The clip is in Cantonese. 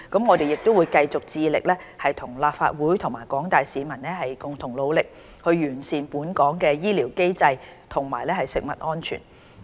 我們會繼續致力與立法會和廣大市民共同努力，完善本港的醫療機制和食物安全。